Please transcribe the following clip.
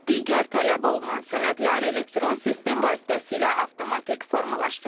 Digər tələb olunan sənədlər elektron sistem vasitəsilə avtomatik formalaşdırılır.